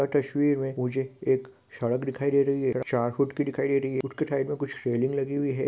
यह तस्वीर मै मुझे एक साग दिखाई दे रही है |छारकुट की दिखाई दे रही है | कूट के साइड मै कुछ सेल्लिंग लगी हुई है |